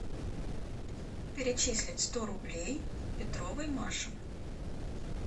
перечислить сто рублей петровой маше